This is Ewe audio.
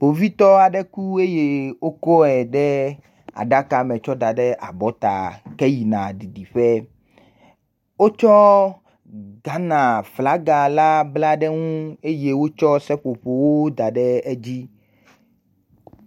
Kpovitɔ aɖe ku eye wokɔe de aɖaka me taɔe da ɖe abɔta heyina ɖiɖiƒe. Wotsɔ Ghana flaga la bla ɖe ŋu eye wotsɔ seƒoƒowo da ɖe edzi.